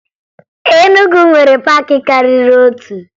Enugwu nwere paakị karịrị otu